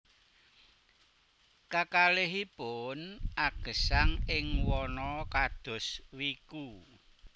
Kakalihipun agesang ing wana kados wiku